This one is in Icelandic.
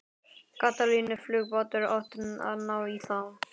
Katalínuflugbátur átti að ná í þá.